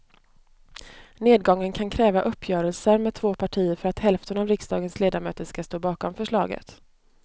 Nedgången kan kräva uppgörelser med två partier för att hälften av riksdagens ledamöter ska stå bakom förslaget.